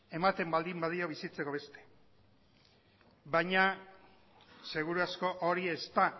ematen baldin badio bizitzeko beste baina seguru asko hori ez da